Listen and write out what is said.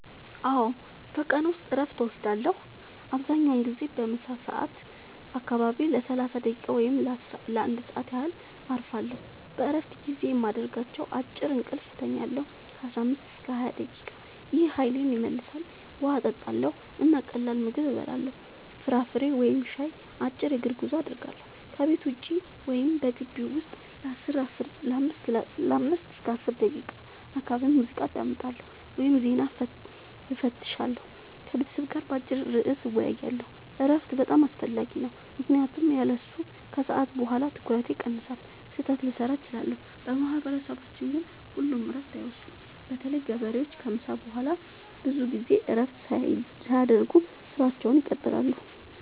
አዎ፣ በቀን ውስጥ እረፍት እወስዳለሁ። አብዛኛውን ጊዜ በምሳ ሰዓት አካባቢ ለ30 ደቂቃ ወይም ለ1 ሰዓት ያህል እረፋለሁ። በእረፍት ጊዜዬ የማደርጋቸው፦ · አጭር እንቅልፍ እተኛለሁ (15-20 ደቂቃ) – ይህ ኃይሌን ይመልሳል። · ውሃ እጠጣለሁ እና ቀላል ምግብ እበላለሁ (ፍራፍሬ ወይም ሻይ)። · አጭር የእግር ጉዞ አደርጋለሁ – ከቤት ውጭ ወይም በግቢው ውስጥ ለ5-10 ደቂቃ። · አንዳንዴ ሙዚቃ አዳምጣለሁ ወይም ዜና እፈትሻለሁ። · ከቤተሰብ ጋር በአጭር ርዕስ እወያያለሁ። እረፍት በጣም አስፈላጊ ነው ምክንያቱም ያለሱ ከሰዓት በኋላ ትኩረቴ ይቀንሳል፣ ስህተት ልሠራ እችላለሁ። በማህበረሰባችን ግን ሁሉም እረፍት አይወስዱም – በተለይ ገበሬዎች ከምሳ በኋላ ብዙ ጊዜ እረፍት ሳያደርጉ ሥራቸውን ይቀጥላሉ።